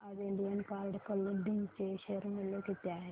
सांगा आज Indian card clothing चे शेअर मूल्य किती आहे